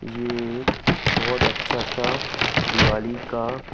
ये एक बहुत अच्छा सा दिवाली का--